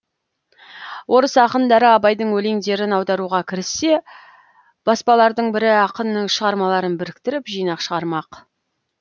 орыс ақындары абайдың өлеңдерін аударуға кіріссе баспалардың бірі ақынның шығармаларын біріктіріп жинақ шығармақ